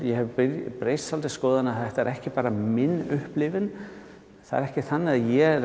ég hef breytt svolítið um skoðun þetta er ekki bara mín upplifun það er ekki þannig að ég